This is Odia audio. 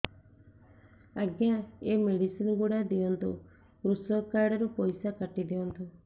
ଆଜ୍ଞା ଏ ମେଡିସିନ ଗୁଡା ଦିଅନ୍ତୁ କୃଷକ କାର୍ଡ ରୁ ପଇସା କାଟିଦିଅନ୍ତୁ